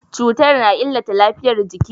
Cutar na illata lafiyar jiki.